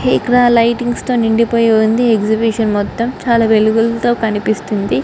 ఇక్కడ లైటింగ్స్ తో నిండిపోయి ఉంది.ఎక్సిబిషన్ మొత్తం చాలా వెలుగులతో కనిపిస్తుంది.